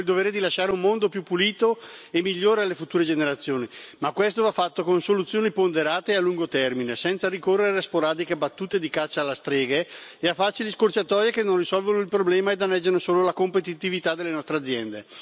Abbiamo il dovere di lasciare un mondo più pulito e migliore alle future generazioni. Ma questo va fatto con soluzioni ponderate a lungo termine, senza ricorrere a sporadiche battute di caccia alle streghe e a facili scorciatoie che non risolvono il problema e danneggiano solo la competitività delle nostre aziende.